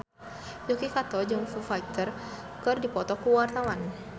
Yuki Kato jeung Foo Fighter keur dipoto ku wartawan